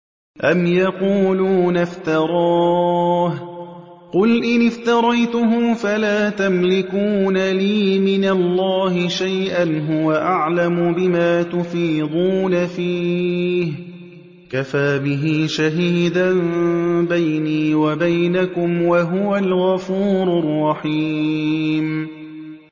أَمْ يَقُولُونَ افْتَرَاهُ ۖ قُلْ إِنِ افْتَرَيْتُهُ فَلَا تَمْلِكُونَ لِي مِنَ اللَّهِ شَيْئًا ۖ هُوَ أَعْلَمُ بِمَا تُفِيضُونَ فِيهِ ۖ كَفَىٰ بِهِ شَهِيدًا بَيْنِي وَبَيْنَكُمْ ۖ وَهُوَ الْغَفُورُ الرَّحِيمُ